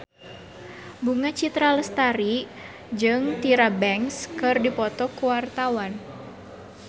Bunga Citra Lestari jeung Tyra Banks keur dipoto ku wartawan